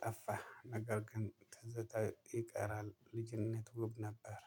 ጠፋህ ነገር ግን ተዝታ ይቀራል ልጅነት ውብ ነበር።